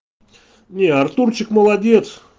не артурчик молодец